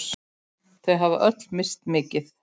Þau hafa öll misst mikið.